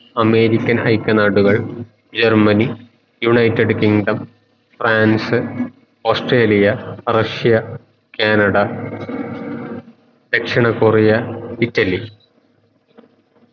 American ഐക നാടുകൾ Germany United Kingdom France Australia Russia Canada ദക്ഷിണ കൊറിയ ഇറ്റലി